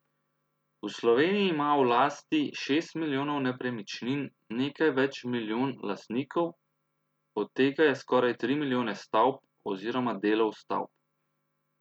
V Sloveniji ima v lasti šest milijonov nepremičnin nekaj več milijon lastnikov, od tega je skoraj tri milijone stavb, oziroma delov stavb.